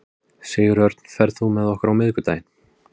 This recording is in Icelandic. Sigurörn, ferð þú með okkur á miðvikudaginn?